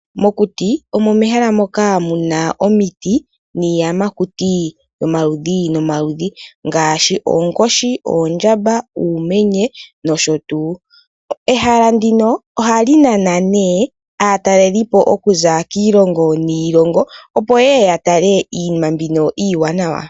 Mokuti omo mehala moka muna omiti niiyamakutu yo maludhi nomaludhi ngaashi oonkoshi, oondjamba, uumenye nosho tuu. Ehala ndino ohali nana nee aatalelipo okuza kiilongo, opo yeye ya tale iinima mbino iiwanawa.